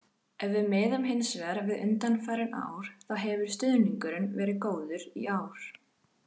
Ef við miðum hins vegar við undanfarin ár þá hefur stuðningurinn verið góður í ár.